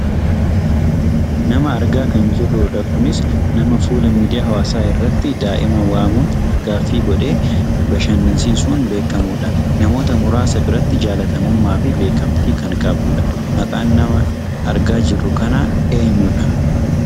Nama argaa kan jirrudha. Kunis nama fuula miidiyaa hawaasaa irratti daa'ima waamuun afgaaffii godhee bashannansiisuun beekkamudha. Namoota muraasa biratti jaallatamummaa fi beekkamtii kan qabudha. Maqaan nama argaa jirru kanaa eenyudha?